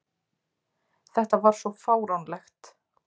Þetta var svo fáránlegt!